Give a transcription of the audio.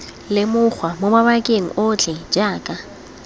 lemogwa mo mabakeng otlhe jaaka